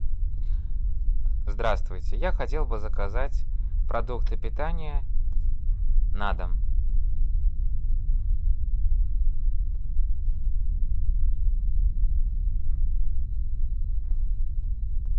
здравствуйте я хотел бы заказать продукты питания на дом